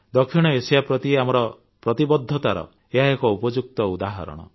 ଦକ୍ଷିଣ ଏସିଆ ପ୍ରତି ଆମର ପ୍ରତିବଦ୍ଧତାର ଏହା ଏକ ଉପଯୁକ୍ତ ଉଦାହରଣ